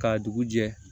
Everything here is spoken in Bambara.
K'a dugu jɛ